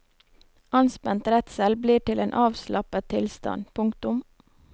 Anspent redsel blir til en avslappet tilstand. punktum